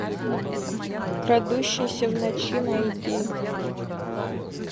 крадущийся в ночи найди